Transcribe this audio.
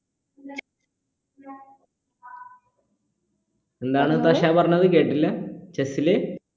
എന്താണ് സശ പറഞ്ഞത് കേട്ടില്ല chess ല്